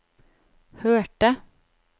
hørte